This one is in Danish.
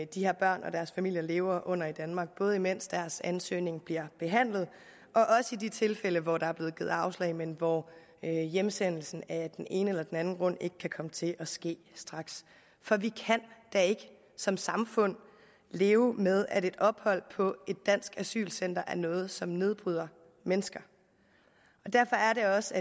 de her børn og deres familier lever under i danmark både mens deres ansøgning bliver behandlet og i de tilfælde hvor der er blevet givet afslag men hvor hjemsendelse af den ene eller den anden grund ikke kan komme til at ske straks for vi kan da ikke som samfund leve med at et ophold på et dansk asylcenter er noget som nedbryder mennesker derfor er det også